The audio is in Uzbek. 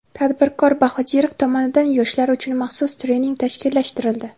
tadbirkor Sh.Bahodirov tomonidan yoshlar uchun maxsus trening tashkillashtirildi.